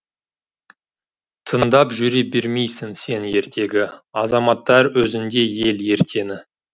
тыңдап жүре бермейсің сен ертегі азаматтар өзіңдей ел ертеңі